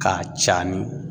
K'a cani